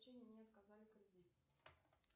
мне отказали кредит